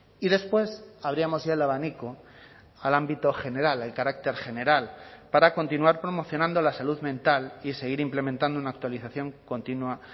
y después abríamos ya el abanico al ámbito general el carácter general para continuar promocionando la salud mental y seguir implementando una actualización continua